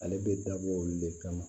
Ale bɛ dabɔ olu le kama